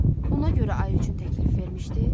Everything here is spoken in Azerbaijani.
Buna görə ayı üçün təklif vermişdi?